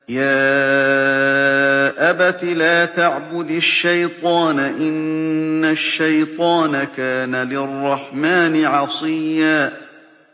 يَا أَبَتِ لَا تَعْبُدِ الشَّيْطَانَ ۖ إِنَّ الشَّيْطَانَ كَانَ لِلرَّحْمَٰنِ عَصِيًّا